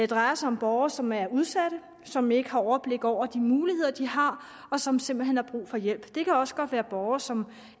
drejer sig om borgere som er udsatte som ikke har overblik over de muligheder de har og som simpelt hen har brug for hjælp det kan også godt være borgere som